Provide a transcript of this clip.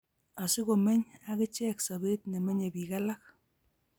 Asikomeny akichek sobet nemenye bik alak